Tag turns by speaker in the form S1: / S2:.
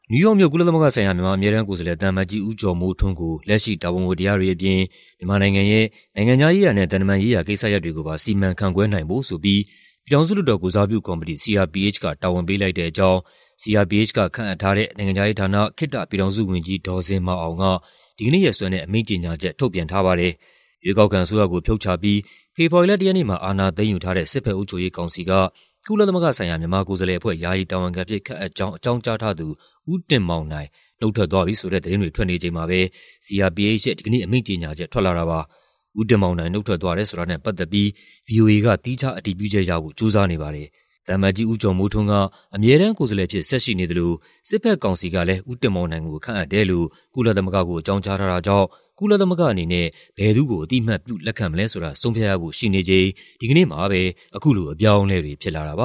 S1: နယူးယောက်မြို့၊ ကုလသမဂ္ဂဆိုင်ရာ မြန်မာအမြဲတမ်းကိုယ်စားလှယ် သံအမတ်ကြီး ဦးကျော်မိုးထွန်းကို လက်ရှိ တာဝန်ဝတ္တရားတွေအပြင် မြန်မာနိုင်ငံရဲ့ နိုင်ငံခြားရေးရာနဲ့ သံတမန်ရေးရာ ကိစ္စရပ်တွေကိုပါ စီမံခန့်ခွဲနိုင်ဖို့ဆိုပြီး ပြည်ထောင်စုလွှတ်တော်ကိုယ်စားပြုကော်မတီ (CRPH) က တာဝန်ပေးလိုက်တဲ့အကြောင်း CRPH က ခန့်အပ်ထားတဲ့ နိုင်ငံခြားရေးဌာန၊ ခေတ္တပြည်ထောင်စုဝန်ကြီး ဒေါ်ဇင်မာအောင်က ဒီကနေ့ရက်စွဲနဲ့ အမိန့်ကြေညာချက် ထုတ်ပြန်ထားပါတယ်။ ရွေးကောက်ခံအစိုးရကို ဖြုတ်ချပြီး ဖေဖော်ဝါရီလ ၁ ရက်နေ့မှာ အာဏာသိမ်းယူထားတဲ့ စစ်ဘက် အုပ်ချုပ်ရေးကောင်စီက ကုလသမဂ္ဂဆိုင်ရာ မြန်မာကိုယ်စားလှယ်အဖွဲ့ ယာယီတာဝန်ခံအဖြစ် ခန့်အပ်ကြောင်း အကြောင်းကြားထားသူ ဦးတင်မောင်နိုင် နုတ်ထွက်သွားပြီဆိုတဲ့သတင်းတွေ ထွက်နေချိန်မှာပဲ CRPH ရဲ့ဒီကနေ့ အမိန့်ကြေညာချက် ထွက်လာတာပါ။ ဦးတင်မောင်နိုင် နုတ်ထွက်သွားတယ်ဆိုတာနဲ့ ပတ်သက်ပြီး ဗွီအိုအေက သီးခြားအတည်ပြုချက်ရဖို့ ကြိုးစားနေပါတယ်။ သံအမတ်ကြီး ဦးကျော်မိုးထွန်းက အမြဲတမ်းကိုယ်စားလှယ်အဖြစ် ဆက်ရှိနေသလို စစ်ဘက်ကောင်စီကလည်း ဦးတင်မောင်နိုင်ကို ခန့်အပ်တယ်လို့ ကုလသမဂ္ဂကို အကြောင်းကြားထားတာကြောင့် ကုလသမဂ္ဂအနေနဲ့ ဘယ်သူ့ကို အသိအမှတ်ပြု လက်ခံမလဲဆိုတာ ဆုံးဖြတ်ရဖို့ ရှိနေချိန် ဒီကနေ့မှာပဲ အခုလို အပြောင
S2: ်းအလဲတွေဖြစ်လာတာပ